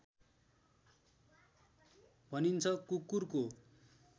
भनिन्छ कुकुरको